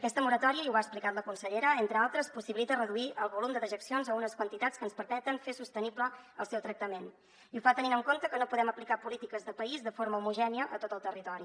aquesta moratòria ho ha explicat la consellera entre d’altres possibilita reduir el volum de dejeccions a unes quantitats que ens permeten fer sostenible el seu tractament i ho fa tenint en compte que no podem aplicar polítiques de país de forma homogènia a tot el territori